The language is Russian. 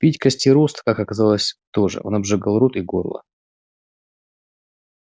пить костерост как оказалось тоже он обжигал рот и горло